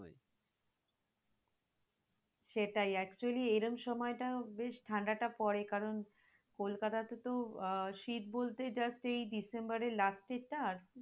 সেটাই actually এইরম সময়টা বেশ ঠাণ্ডা টা পরে কারন কলকাতাতে তো আহ শীত বলতে just এই december এর last এর টা আর